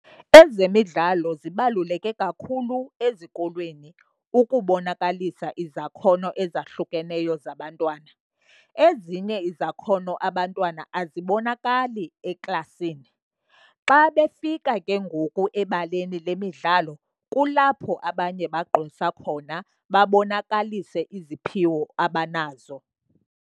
Ezemidlalo zibaluleke kakhulu ezikolweni ukubonakalisa izakhono ezahlukeneyo zabantwana. Ezinye izakhono abantwana azibonakali eklasini. Xa befika ke ngoku ebaleni le midlalo kulapho abanye bagqwesa khona babonakalise iziphiwo abanazo.